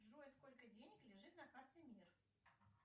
джой сколько денег лежит на карте мир